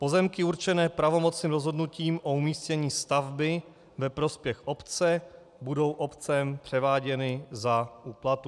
Pozemky určené pravomocným rozhodnutím o umístění stavby ve prospěch obce budou obcemi převáděny za úplatu.